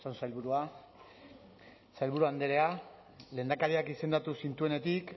osasun sailburua sailburu andrea lehendakariak izendatu zintuenetik